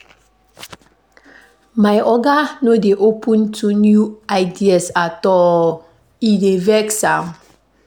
My oga no dey open to new ideas at all, e dey vex am.